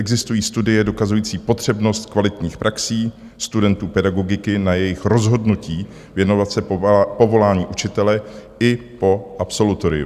Existují studie dokazující potřebnost kvalitních praxí studentů pedagogiky na jejich rozhodnutí věnovat se povolání učitele i po absolutoriu.